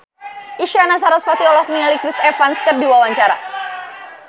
Isyana Sarasvati olohok ningali Chris Evans keur diwawancara